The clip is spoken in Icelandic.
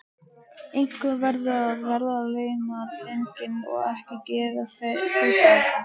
Einhver verður að verðlauna drenginn og ekki gerir þú það.